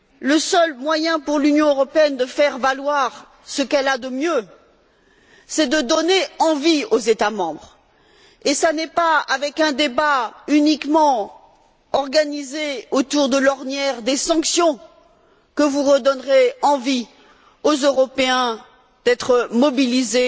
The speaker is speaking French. Le seul moyen pour l'Union européenne de faire valoir ce qu'elle a de mieux, c'est de donner envie aux États membres, et ce n'est pas avec un débat uniquement organisé autour de l'ornière des sanctions que vous redonnerez envie aux Européens d'être mobilisés